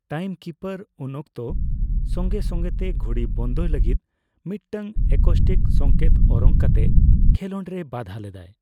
Timekeeper ᱩᱱ ᱚᱠᱛᱚ ᱥᱚᱸᱜᱮ ᱥᱚᱸᱜᱮᱛᱮ ᱜᱷᱚᱲᱤ ᱵᱚᱱᱫᱚᱭ ᱞᱟᱹᱜᱤᱫ ᱢᱤᱫᱴᱟᱝ ᱮᱠᱳᱥᱴᱤᱠ ᱥᱚᱝᱠᱮᱛ ᱚᱨᱚᱝ ᱠᱟᱛᱮ ᱠᱷᱮᱞᱚᱸᱰᱨᱮ ᱵᱟᱫᱷᱟ ᱞᱮᱫᱟᱭ ᱾